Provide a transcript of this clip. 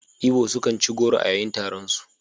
Igbo sukan ci goro a yayin taronsu.